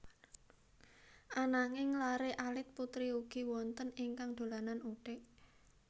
Ananging laré alit putri ugi wonten ingkang dolanan uthik